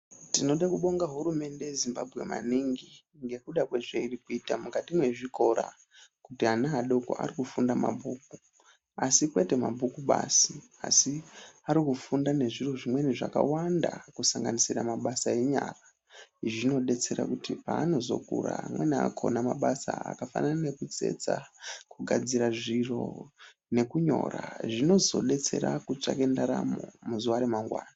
Tinoda kubonga hurumende yeZimbabwe maningi ngekuda kwezvairikuita mukati mwezvikora kuti vana vadoko vari kufunda mabhuku asi kwete mabhuku basi asi arikufunda nezviro zvimweni zvakawanda kusanganisira mabasa enyara zvinodetsera kuti paanozokura amweni akhona mabasa akafanana nekutsetsa kugadzire zviro nekunyora zvinozodetsera kutsvake ndaramo muzuwa remangwani.